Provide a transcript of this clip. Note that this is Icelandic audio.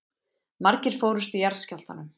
Margir fórust í jarðskjálftanum